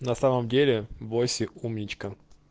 на самом деле войсе умничка